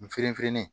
N fenfe